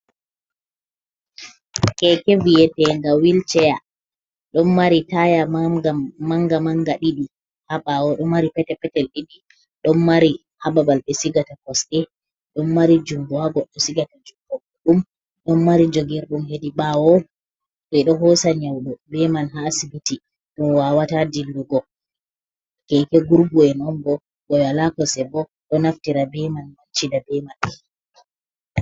Keke viye te'nga wilcea. Ɗon mari taya man man nga man nga ɗi ɗi habawo ɗo mari pete-petel ɗi ɗi, ɗon mari ha babal ɓe sigata kosɗe, ɗon mari junngu ha goddo sigata junngo muɗum, ɗon mari jogirɗum hedi bawo to ɓe ɗo hosa nyauɗo be man ha asibiti, mo wawata dillugo, keke gurgu'en on bo mo wala kosɗo bo ɗo naftira be man wancida be man.